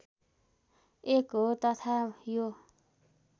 एक हो तथा यो